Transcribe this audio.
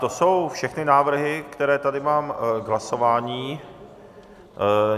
To jsou všechny návrhy, které tady mám k hlasování.